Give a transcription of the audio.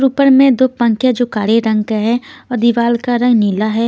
ऊपर में दो पंखे जो काले रंग का है और दीवाल का रंग नीला है.